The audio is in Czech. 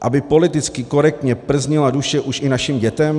Aby politicky korektně prznila duše už i našim dětem?